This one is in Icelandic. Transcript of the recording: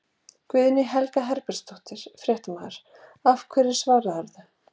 Guðný Helga Herbertsdóttir, fréttamaður: Og hverju svararðu?